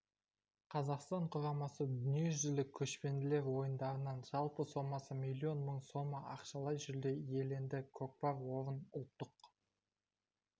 қазақстан құрамасы дүниежүзілік көшпенділер ойындарынан жалпы сомасы миллион мың сом ақшалай жүлде иеленді көкпар орын ұлттық